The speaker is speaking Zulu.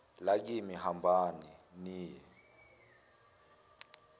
lakini hambani niye